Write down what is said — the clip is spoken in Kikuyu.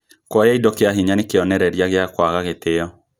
Kuoya indo kĩa hinya nĩ kĩonereria gĩa kũaga gĩtĩo